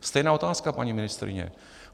Stejná otázka, paní ministryně.